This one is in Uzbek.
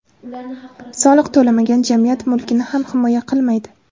Soliq to‘lamagan, jamiyat mulkini ham himoya qilmaydi.